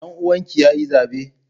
Danuwan ki yayi zabe?